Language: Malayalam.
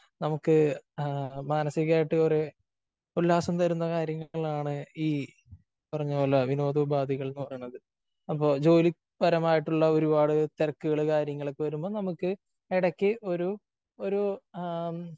നമുക്ക് മാനസികമായിട്ട് കുറെ ഉല്ലാസം തരുന്ന കാര്യങ്ങളാണ് ഈ പറഞ്ഞ പോലെ വിനോദ ഉപാധികൾ എന്ന് പറയുന്നത്. അപ്പോ ജോലി പരമായിട്ടുള്ള ഒരുപാട് തിരക്കുകള് കാര്യങ്ങളൊക്കെ വരുമ്പോ നമുക്ക് ഇടയ്ക്ക് ഒരു ഒരു ആ